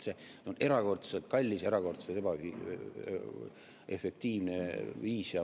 See on erakordselt kallis ja erakordselt ebaefektiivne viis.